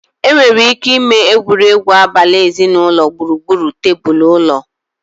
Enwere ike ịme egwuregwu abali ezinụlọ gburugburu tebụl ụlọ.